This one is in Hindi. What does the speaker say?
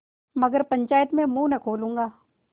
मगर पंचायत में मुँह न खोलूँगा